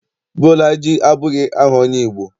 Bolaji abụghị aha onye Igbo.